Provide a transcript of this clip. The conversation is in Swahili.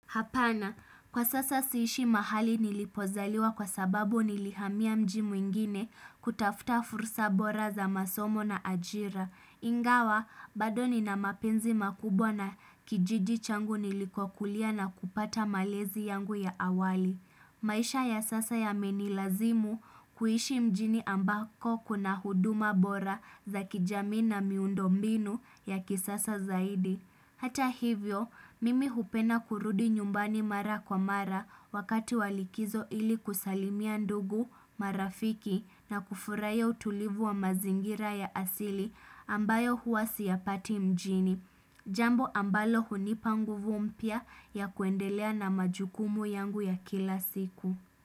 Hapana, kwa sasa siishi mahali nilipozaliwa kwa sababu nilihamia mjii mwingine kutafuta fursa bora za masomo na ajira. Ingawa, badoni na mapenzi makubwa na kijiji changu nilikokulia na kupata malezi yangu ya awali. Maisha ya sasa yameni lazimu kuishi mjini ambako kuna huduma bora za kijamii na miundo mbinu ya kisasa zaidi. Hata hivyo, mimi hupenda kurudi nyumbani mara kwa mara wakati walikizo ili kusalimia ndugu marafiki na kufurahia utulivu wa mazingira ya asili ambayo huwasi ya pati mjini. Jambo ambalo hunipa ngu vumpya ya kuendelea na majukumu yangu ya kila siku.